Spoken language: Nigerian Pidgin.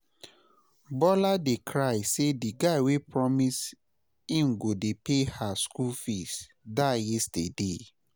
Bola dey cry say the guy wey promise im go dey pay her school fees die yesterday